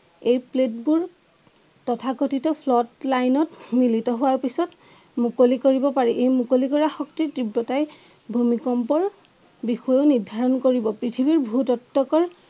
এই প্লেট বোৰ তথাকঠিত শ্লট লাইন অত মিলিত হোৱাৰ পিছত মুকলি কৰিব পাৰি এই মুকলি কৰা শক্তিৰ তিব্ৰতাই ভূমিকম্প বিষয় নিৰ্ধাৰণ কৰিব পৃথিৱীৰ ভূ-তত্ত্বকৰ